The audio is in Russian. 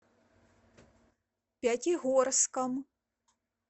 пятигорском